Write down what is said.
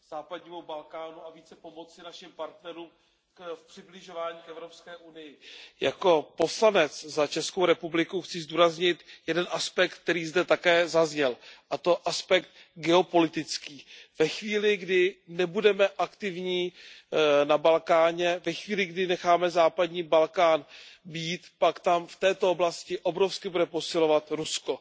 Pane předsedající, velmi vítám iniciativu více se věnovat Západnímu Balkánu a více pomoci našim partnerům v přibližování k Evropské unii. Jako poslanec za Českou republiku chci zdůraznit jeden aspekt, který zde také zazněl, a to aspekt geopolitický. Ve chvíli, kdy nebudeme aktivní na Balkáně, ve chvíli, kdy necháme Západní Balkán být, pak tam v této oblasti obrovsky bude posilovat Rusko.